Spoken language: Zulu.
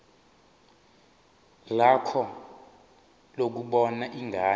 lakho lokubona ingane